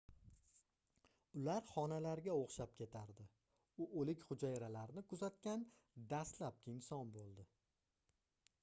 ular xonalarga oʻxshab ketardi u oʻlik hujayralarni kuzatgan dastlabki inson boʻldi